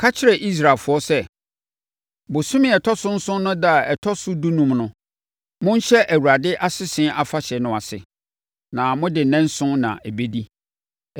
“Ka kyerɛ Israelfoɔ sɛ, ‘Bosome a ɛtɔ so nson no ɛda a ɛtɔ so dunum no, wɔnhyɛ Awurade Asese Afahyɛ no ase, na mode nnanson na ɛbɛdi.